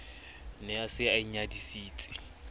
ne a se a inyadisitse